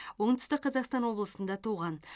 оңтүстік қазақстан облысында туған